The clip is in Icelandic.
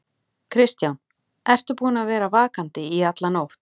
Kristján: Ertu búinn að vera vakandi í alla nótt?